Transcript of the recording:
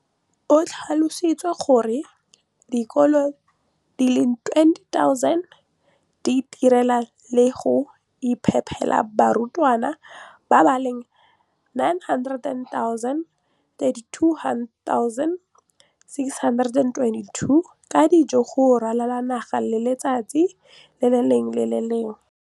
O tlhalositse gore dikolo di le 20 619 di itirela le go iphepela barutwana ba le 9 032 622 ka dijo go ralala naga letsatsi le lengwe le le lengwe.